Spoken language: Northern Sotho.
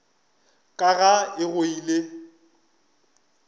ka ga e go ile